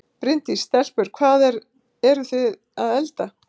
Bryndís: Stelpur, hvað eru þið að elda?